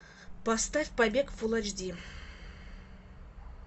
поставь побег фул эйч ди